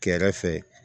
Kɛrɛfɛ